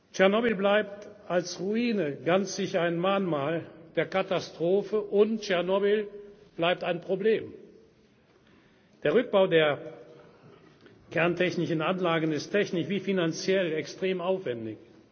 wurden. Tschernobyl bleibt als Ruine ganz sicher ein Mahnmal der Katastrophe und Tschernobyl bleibt ein Problem. Der Rückbau der kerntechnischen Anlagen ist technisch wie finanziell extrem